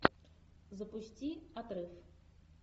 запусти отрыв